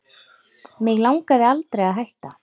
Mig langaði aldrei að hætta